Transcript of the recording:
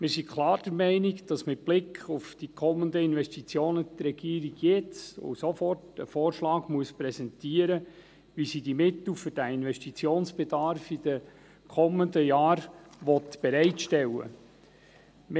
Wie sind klar der Meinung, die Regierung müsse jetzt und sofort einen Vorschlag präsentieren, wie sie – mit Blick auf die kommenden Investitionen – die Mittel für den Investitionsbedarf in den kommenden Jahren bereitstellen will.